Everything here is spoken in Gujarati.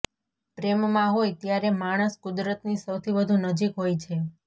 પ્રેમમાં હોય ત્યારે માણસ કુદરતની સૌથી વધુ નજીક હોય છે